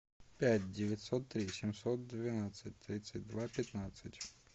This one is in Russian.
пять девятьсот три семьсот двенадцать тридцать два пятнадцать